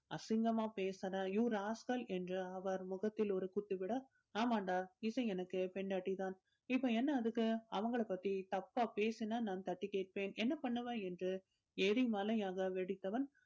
அசிங்கமா பேசுற you rascal என்று அவர் முகத்தில் ஒரு குத்து விட ஆமாம்டா இசை எனக்கு பொண்டாட்டி தான் இப்ப என்ன அதுக்கு அவள பத்தி தப்பா பேசின நான் தட்டி கேட்பேன். என்ன பண்ணுவ என்று எரி மலையாக வெடித்தவன்